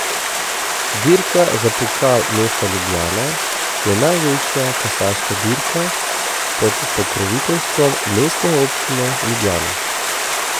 Dirka za Pokal mesta Ljubljana je največja kasaška dirka pod pokroviteljstvom Mestne občine Ljubljana.